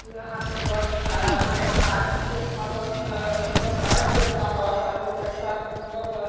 यहाँ पर बस है यहाँ पर भारत देश का बस है यहाँ पर भारत देश का बस है बहुत अच्छा है सुंदर है।